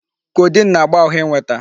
Codeine na-agba ahụ ịnweta.